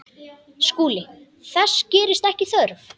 SKÚLI: Þess gerist ekki þörf.